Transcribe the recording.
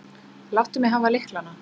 Láttu mig hafa lyklana.